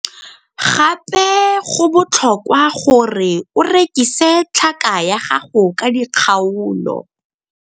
Gape go botlhokwa gore o rekise tlhaka ya gago ka dikgaolo.